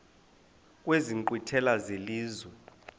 kwezi nkqwithela zelizwe